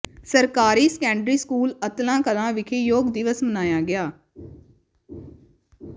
ਸਰਕਾਰੀ secondary school Atlan Kalan ਵਿਖੇ ਯੋਗ ਦਿਵਸ ਮਨਾਇਆ ਗਿਆ